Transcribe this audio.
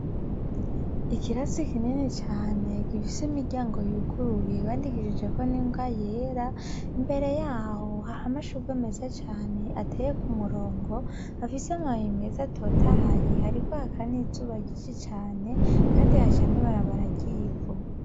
Ikirasi kinini cane gifise imiryango yuguruye bandikishijeko n'ingwa yera, imbere yaho hari amashugwe meza cane ateye ku murongo afise amababi meza atotahaye, hariko haka n'izuba ryinshi cane kandi haca n'ibarabara ry'ivu.